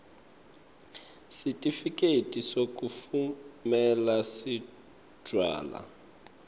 sitifiketi sekutfumela setjwala